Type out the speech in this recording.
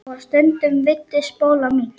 Og stundum veiddi Spóla mink.